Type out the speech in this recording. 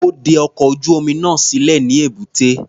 Ó de ọkọ̀ ojú-omi náà sílẹ̀ ní èbúté.